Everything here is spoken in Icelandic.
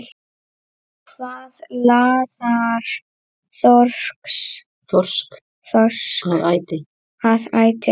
Hvað laðar þorsk að æti?